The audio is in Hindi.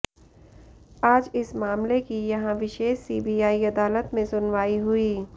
आज इस मामले की यहां विशेष सीबीआई अदालत में सुनवाई हुई